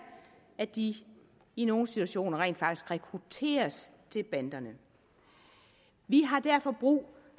at de i nogle situationer rent faktisk rekrutteres til banderne vi har derfor brug